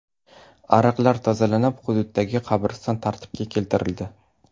Ariqlar tozalanib, hududdagi qabriston tartibga keltirildi.